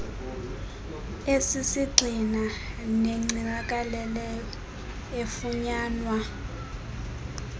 esisisgxina negcinakeleyo efunyanwa